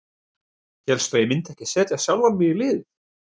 Hélstu að ég myndi ekki setja sjálfan mig í liðið?